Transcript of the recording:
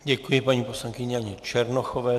Děkuji, paní poslankyni Janě Černochové.